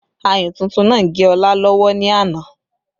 Ayùn tuntun náà gé Ọlá lọ́wọ́ ní àná